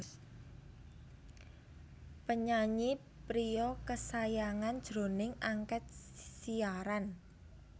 Penyanyi Pria Kesayangan jroning Angkèt Siaran